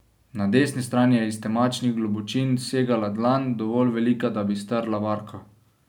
Na desni strani je iz temačnih globočin segala dlan, dovolj velika, da bi strla barko.